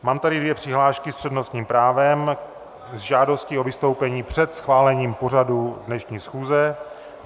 Mám tady dvě přihlášky s přednostním právem s žádostí o vystoupení před schválením pořadu dnešní schůze.